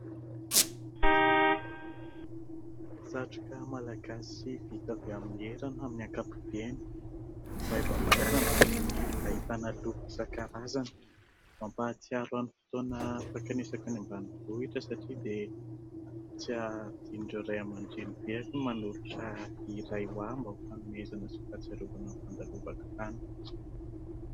Satroka malagasy vita avy amin'ny herana amin'ny ankapobeny, maivamaivana ary ahitana loko isan- karazany, mampatsiaro an'ny fotoana fankanesako any ambanivohitra satria dia tsy adinon'ireo Ray aman-dRenibeako ny manolotra iray ho ahy mba ho fanomezana sy fahatsiarovana ny fandalovako tany.